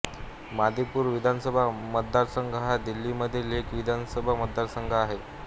मादीपूर विधानसभा मतदारसंघ हा दिल्लीमधील एक विधानसभा मतदारसंघ आहे